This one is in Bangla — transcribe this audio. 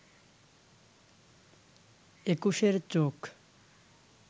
একুশের চোখ